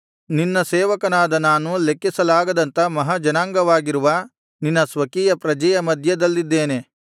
ನಿನ್ನ ಸೇವಕನಾದ ನಾನು ಲೆಕ್ಕಿಸಲಾಗದಂಥ ಮಹಾ ಜನಾಂಗವಾಗಿರುವ ನಿನ್ನ ಸ್ವಕೀಯ ಪ್ರಜೆಯ ಮಧ್ಯದಲ್ಲಿದ್ದೇನೆ